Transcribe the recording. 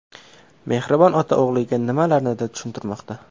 Mehribon ota o‘g‘liga nimalarnidir tushuntirmoqda.